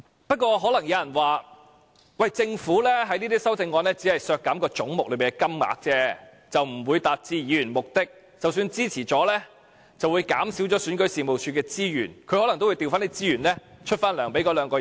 不過，可能有人會說，政府在這些修正案中只會削減總目內的金額，而不會達致議員的目的，即使支持了，亦只會減少選舉事務處的資源，選舉事務處可能亦會調撥資源，繼續發放薪酬予二人。